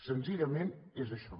senzillament és això